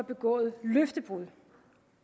begået løftebrud